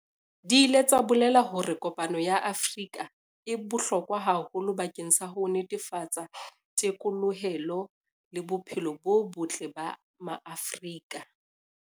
Di ile tsa bolela hore kopano ya Afrika e bohlokwa haholo bakeng sa ho netefatsa thekolohelo le bophelo bo botle ba Maafrika.